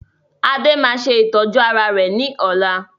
Adé máa ṣe ìtọ́jú ara rẹ ní ọ̀la